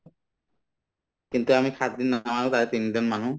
কিন্তু আমি সাতদিন তিন দিন মানো